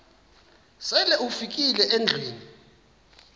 sele ufikile endlwini